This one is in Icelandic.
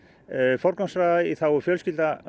forgangsraða í þágu fjölskyldna